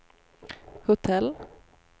hotell